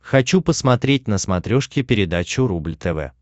хочу посмотреть на смотрешке передачу рубль тв